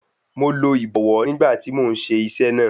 Mo lo ìbọwọ́ ní ìgbà tí mò ń ṣe iṣẹ́ náà.